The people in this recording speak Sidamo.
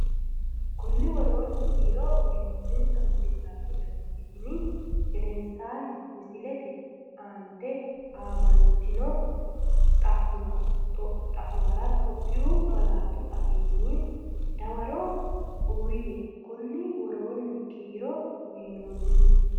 Konni woroonni kiiro uyinoonninsa misilla wodanchitini gedensaanni misillate aant aamantino xa’muwara Itophiyu malaatu afiinni dawaro uuyye Konni woroonni kiiro uyinoonninsa.